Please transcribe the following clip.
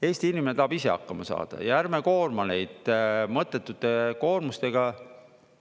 Eesti inimene tahab ise hakkama saada ja ärme koorma neid mõttetute koormustega.